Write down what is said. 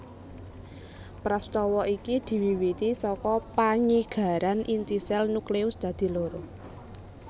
Prastawa iki diwiwiti saka panyigaran inti sèl nucleus dadi loro